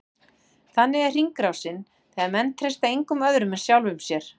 Þannig er hringrásin, þegar menn treysta engum öðrum en sjálfum sér.